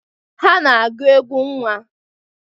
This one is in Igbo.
Ha na-agụ egwu nnwa.